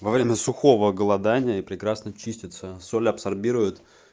во время сухого голодания прекрасно чистятся соль абсорбирует